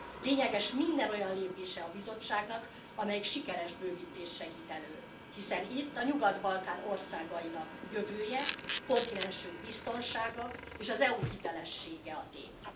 Lényeges minden olyan lépése a Bizottságnak, amelyik sikeres bővítést segít elő, hiszen itt a Nyugat Balkán országainak jövője, kontinensünk biztonsága és az EU hitelessége a tét.